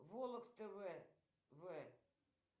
волок тв в